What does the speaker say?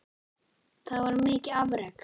Það var mikið afrek.